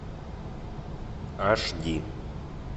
аш ди